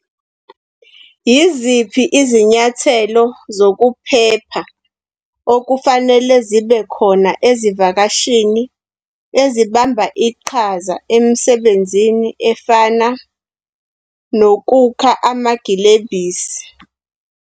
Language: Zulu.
Yiziphi izinyathelo zokuphepha okufanele zibe khona ezivakashini ezibamba iqhaza emisebenzini efana nokukha amagilebhisi?